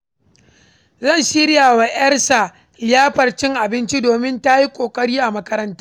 Zai shirya wa ‘yarsa liyafar cin abinci domin ta yi ƙoƙari a makaranta.